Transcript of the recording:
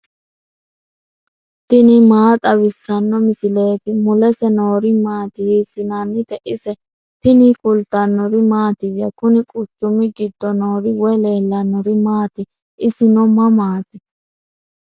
tini maa xawissanno misileeti ? mulese noori maati ? hiissinannite ise ? tini kultannori mattiya? Kunni quchummi giddo noori woy leelannori maatti? isinno mamaatti?